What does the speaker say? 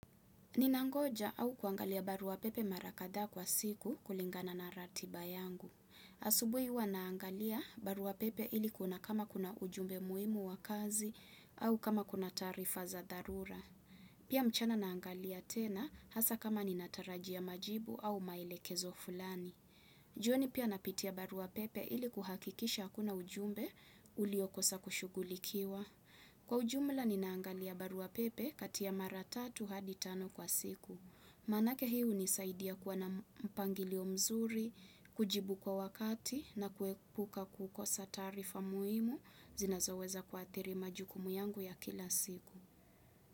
Ninangoja au kuangalia barua pepe mara kadhaa kwa siku kulingana na ratiba yangu. Asubuhi huwa naangalia barua pepe ili kuna kama kuna ujumbe muhimu wa kazi au kama kuna taarifa za dharura. Pia mchana naangalia tena hasa kama ninatarajia majibu au maelekezo fulani. Jioni pia napitia barua pepe ili kuhakikisha hakuna ujumbe uliokosa kushugulikiwa. Kwa ujumla ninaangalia barua pepe kati ha mara tatu hadi tano kwa siku. Maanake hi unisaidia kuwa na mpangilio mzuri, kujibu kwa wakati na kuepuka kukosa taarifa muhimu zinazoweza kwa adhiri majukumu yangu ya kila siku.